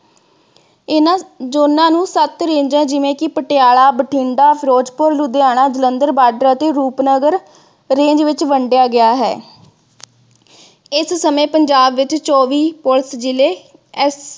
ਇਨ੍ਹਾਂ ਜੋਨਾਂ ਨੂੰ ਸੱਤ ਰੇਜਾਂ ਜਿਵੇਂ ਕਿ ਪਟਿਆਲਾ, ਬਠਿੰਡਾ, ਫਿਰੋਜ਼ਪੁਰ, ਲੁਧਿਆਣਾ, ਜਲੰਧਰ ਬਾਡਰ ਅਤੇ ਰੂਪਨਗਰ range ਵਿਚ ਵੰਡਿਆ ਗਿਆ ਹੈ। ਇਸ ਸਮੇਂ ਪੰਜਾਬ ਵਿਚ ਚੌਵੀ police ਜਿਲੇ